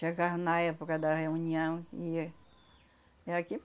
Chegava na época da reunião e ia.